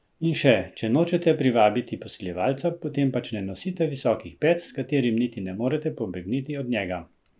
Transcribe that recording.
In še: "Če nočete privabiti posiljevalca, potem pač ne nosite visokih pet, s katerimi niti ne morete pobegniti od njega.